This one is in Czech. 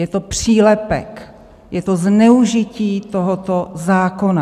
Je to přílepek, je to zneužití tohoto zákona.